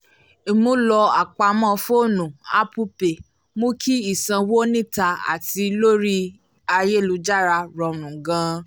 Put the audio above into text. ìmúlò apamọ́ fónù apple pay mú kí ìsanwó níta àti lórí ayélujára rọrùn gan-an